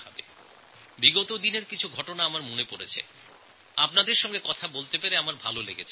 গত কিছু দিনে কিছু ঘটনা আমার নজরে এসেছে যা আমার ভাল লেগেছে সেই কথাটি আমি আপনাদের বলতে চাই